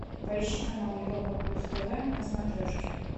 поищи канал европа плюс тв на смотрешке